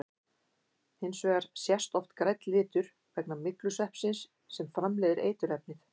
Hins vegar sést oft grænn litur vegna myglusveppsins sem framleiðir eiturefnið.